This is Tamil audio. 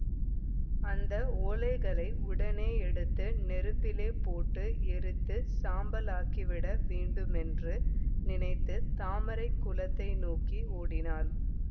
அந்த ஓலைகளை உடனே எடுத்து நெருப்பிலே போட்டு எரித்துச் சாம்பலாக்கிவிட வேண்டுமென்று நினைத்து தாமரை குளத்தை நோக்கி ஓடினாள்